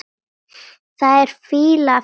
Það er fýla af þér.